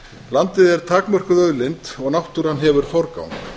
landið er takmörkuð auðlind og náttúran hefur forgang